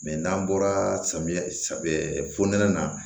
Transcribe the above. n'an bɔra samiya saŋa na